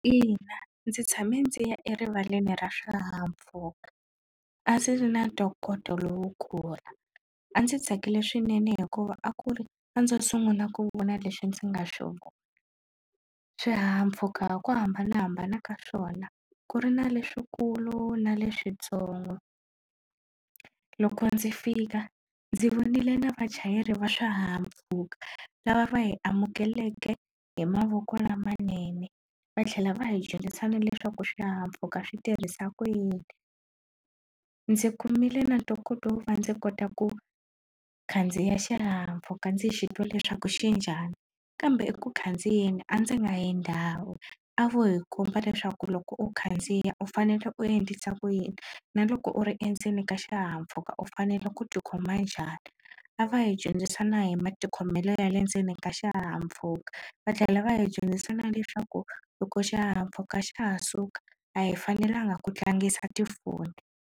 Ina ndzi tshame ndzi ya erivaleni ra swihahampfhuka a ndzi ri na ntokoto lowukulu a ndzi tsakile swinene hikuva a ku ri a ndzo sungula ku vona lexi ndzi nga sungula swihahampfhuka ku hambanahambana ka swona ku ri na leswikulu na leswintsongo loko ndzi fika ndzi vonile na vachayeri va swihahampfhuka lava va hi amukelekeke hi mavoko lamanene va tlhela va hi dyondzisa na leswaku swihahampfhuka swi tirhisa ku yini ndzi kumile na ntokoto wo va ndzi kota ku khandziya xihahampfhuka ndzi xi twa leswaku xi njhani kambe eku khandziya ni a ndzi nga yi ndhawu a vo hi komba leswaku loko u khandziya u fanele u endlisa ku yini na loko u ri endzeni ka xihahampfhuka u u fanele ku ti khoma njhani a va hi dyondzisa na hi matikhomelo ya le ndzeni ka xihahampfhuka va tlhela va hi dyondzisa na leswaku loko xihahampfhuka xa ha suka a hi fanelanga ku tlangisa tifoni.